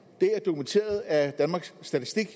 er dokumenteret af danmarks statistik i